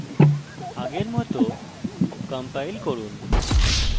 আগের মত compile করুন